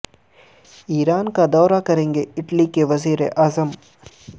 ایران کا دورہ کریں گے اٹلی کے وزیر اعظم